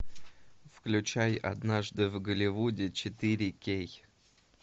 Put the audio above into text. включай однажды в голливуде четыре кей